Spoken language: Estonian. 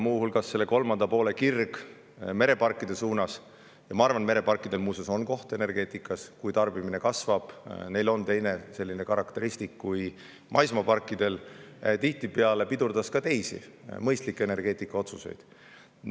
Muu hulgas selle kolmanda poole kirg mereparkide suhtes – ma arvan, muuseas, et mereparkidel on koht energeetikas, kui tarbimine kasvab, siis neil on teine karakteristik kui maismaaparkidel – tihtipeale pidurdas ka teisi mõistlikke energeetikaotsuseid.